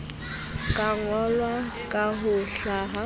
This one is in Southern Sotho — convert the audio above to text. ka ngolwa ka ho hlaha